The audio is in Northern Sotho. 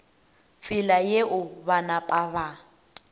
tsela yeo ba napa ba